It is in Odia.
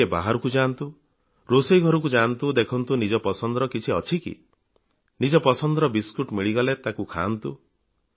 ଟିକିଏ ବାହାରକୁ ଯାଆନ୍ତୁ ରୋଷେଇ ଘରକୁ ଯାଆନ୍ତୁ ଦେଖନ୍ତୁ ନିଜ ପସନ୍ଦର କିଛି ଅଛି କି ନିଜ ପସନ୍ଦର ବିସ୍କୁଟ ମିଳିଗଲେ ତାହା ଖାଆନ୍ତୁ